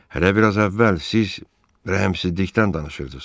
Hələ bir az əvvəl siz rəhimsizlikdən danışırdız.